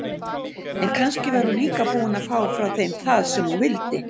En kannski var hún líka búin að fá frá þeim það sem hún vildi.